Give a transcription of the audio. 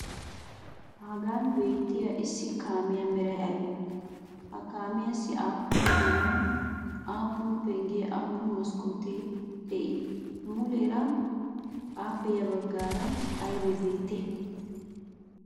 Hagan beettiya issi kaamiya meray aybee? Ha kaamiyassi aappun goomay, aappun penggee, aappun maskkootee de'ii muleera? Appe ya baggaara aybee beettiyaya?